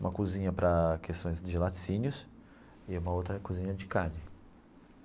Uma cozinha para questões de laticínios e uma outra cozinha de carne.